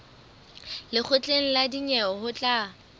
lekgotleng la dinyewe ho tla